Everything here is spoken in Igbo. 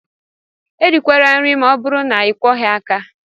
Erikwala nri ma ọ bụrụ na ịkwọghị aka!